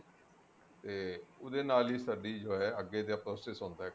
ਤੇ ਉਹਦੇ ਨਾਲ ਹੀ ਸਾਡੀ ਜੋ ਹੈ ਅੱਗੇ ਦਾ process ਹੁੰਦਾ ਹੈਗਾ